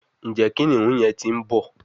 Njé kìnìún yén tí ń bó